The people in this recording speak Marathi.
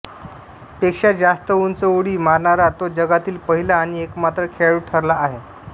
पेक्षा जास्त उंच उडी मारणारा तो जगातील पहिला आणि एकमात्र खेळाडू ठरला आहे